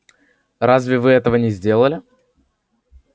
разве вы этого не сделали